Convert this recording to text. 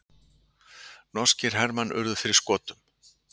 Norskir hermenn urðu fyrir skotum